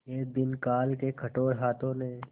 एक दिन काल के कठोर हाथों ने